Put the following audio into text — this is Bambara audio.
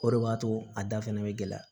O de b'a to a da fɛnɛ be gɛlɛya